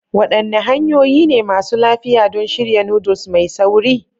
Wadanne hanyoyi ne masu lafiya don shirya noodles mai sauri?